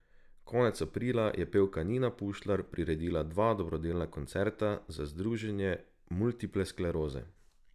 Konec aprila je pevka Nina Pušlar priredila dva dobrodelna koncerta za Združenje multiple skleroze.